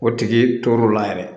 O tigi tor'o la yɛrɛ